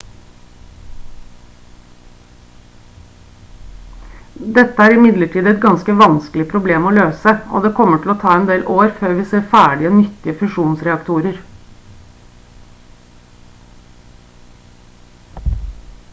dette er imidlertid et ganske vanskelig problem å løse og det kommer til å ta en del år før vi ser ferdige nyttige fusjonsreaktorer